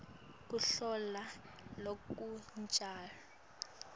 kubhala lokucondzile